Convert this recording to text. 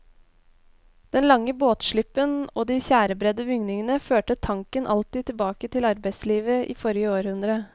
Den lange båtslippen og de tjærebredde bygningene førte tanken alltid tilbake til arbeidslivet i forrige århundre.